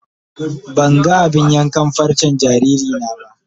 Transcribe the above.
Ban gan abin yankan farcen jariri na ba.